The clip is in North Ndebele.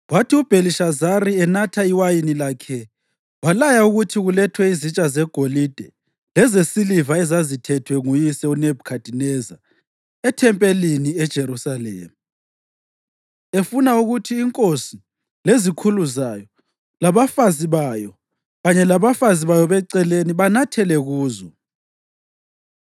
Kwathi uBhelishazari enatha iwayini lakhe walaya ukuthi kulethwe izitsha zegolide lezesiliva ezazithethwe nguyise uNebhukhadineza ethempelini eJerusalema, efuna ukuthi inkosi, lezikhulu zayo, labafazi bayo kanye labafazi bayo beceleni banathele kuzo.